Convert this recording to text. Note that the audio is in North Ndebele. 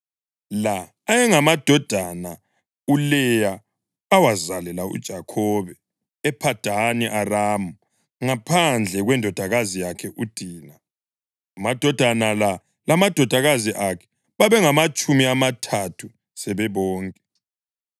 La ayengamadodana uLeya awazalela uJakhobe ePhadani Aramu, ngaphandle kwendodakazi yakhe uDina. Amadodana la lamadodakazi akhe babengamatshumi amathathu sebebonke.